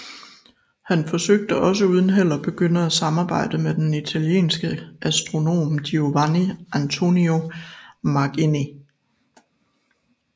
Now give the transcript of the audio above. Han forsøgte også uden held at begynde et samarbejde med den italienske astronom Giovanni Antonio Magini